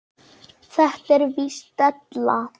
Þetta er víst della.